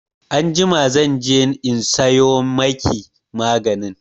Anjima zan je in sayo maki maganin.